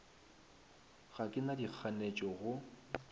ga ke na dikganetšo go